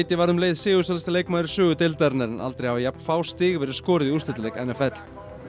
varð um leið sigursælasti leikmaður í sögu deildarinnar en aldrei hafa jafn fá stig verið skoruð í úrslitaleik n f l